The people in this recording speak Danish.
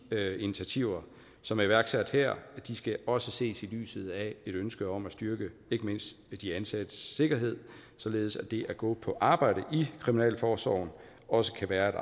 initiativer som er iværksat her skal også ses i lyset af et ønske om at styrke ikke mindst de ansattes sikkerhed således at det at gå på arbejde i kriminalforsorgen også kan være